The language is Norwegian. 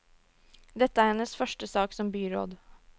Dette er hennes første sak som byråd.